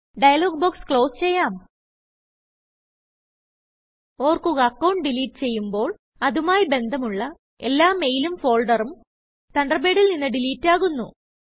dialogue box close ചെയ്യാം ഓർക്കുക account delete ചെയ്യുമ്പോൾ അതുമായി ബന്ധമുള്ള എല്ലാ മെയിലും ഫോൾഡറും തണ്ടർബേഡിൽ നിന്ന് ഡിലീറ്റ് ആകുന്നു